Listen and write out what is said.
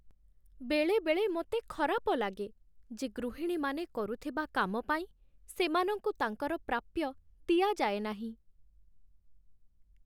ବେଳେବେଳେ ମୋତେ ଖରାପ ଲାଗେ ଯେ ଗୃହିଣୀମାନେ କରୁଥିବା କାମ ପାଇଁ ସେମାନଙ୍କୁ ତାଙ୍କର ପ୍ରାପ୍ୟ ଦିଆଯାଏ ନାହିଁ।